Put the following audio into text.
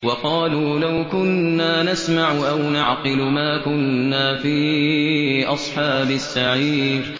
وَقَالُوا لَوْ كُنَّا نَسْمَعُ أَوْ نَعْقِلُ مَا كُنَّا فِي أَصْحَابِ السَّعِيرِ